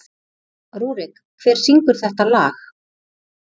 Rúrik, hver syngur þetta lag?